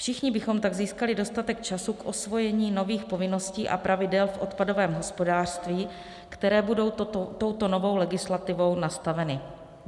Všichni bychom tak získali dostatek času k osvojení nových povinností a pravidel v odpadovém hospodářství, které budou touto novou legislativou nastaveny.